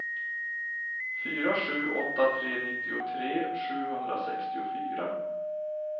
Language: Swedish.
fyra sju åtta tre nittiotre sjuhundrasextiofyra